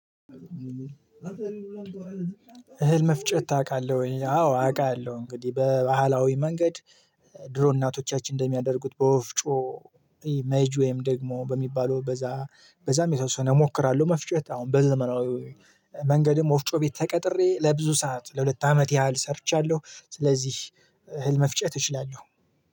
እህል መፍጨት ታውቃለህ ወይ? አዎ አውቃለሁ። እንግዲህ በባህላዊ መንገድ ድሮ እናቶቻችን እንደሚያደርጉት በወፍጮ ኢሜጅ ወይም ደግሞ በሚባለው በዛ በዛም የተወሰነ እሞክራለሁ መፍጨት አሁን በዘመናዊ መንገድም ወፍጮ ቤት ተቀጥሬ ለብዙ ሰዓት ለሁለት አመት ያህል ሰርቻለሁ። ስለዚህ እህል መፍጨት እችላለሁ